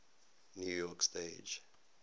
new york stage